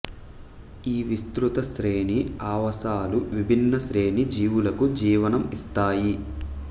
ఈ విస్తృత శ్రేణి ఆవాసాలు విభిన్న శ్రేణి జీవులకు జీవనం ఇస్తాయి